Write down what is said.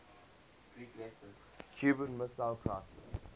cuban missile crisis